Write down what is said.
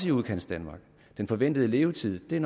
i udkantsdanmark den forventede levetid er